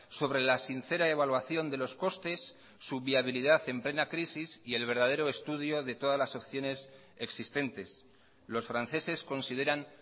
sobre la sincera evaluación de los costes su viabilidad en plena crisis y el verdadero estudio de todas las opciones existentes los franceses consideran